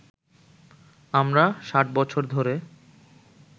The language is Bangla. আমরা ষাট বছর ধরে